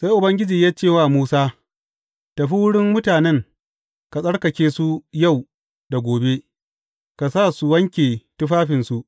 Sai Ubangiji ya ce wa Musa, Tafi wurin mutanen, ka tsarkake su yau da gobe, ka sa su wanke tufafinsu.